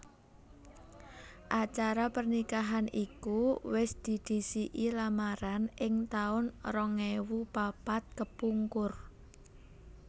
Acara pernikahan iku wis didhisiki lamaran ing taun rong ewu papat kepungkur